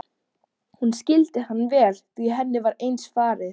Hún skildi hann vel því henni var eins farið.